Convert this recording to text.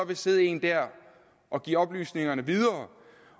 der sidde en der og give oplysningerne videre